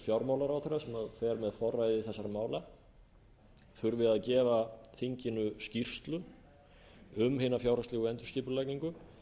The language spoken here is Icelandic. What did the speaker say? fjármálaráðherra sem fer með forræði þessara mála þurfi að gefa þinginu skýrslu um hina fjárhagslegu endurskipulagningu